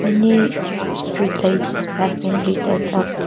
many street lights have been lighted up.